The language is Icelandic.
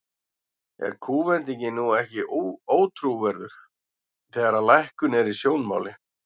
Er kúvendingin nú ekki ótrúverðug, þegar að lækkun er í sjónmáli?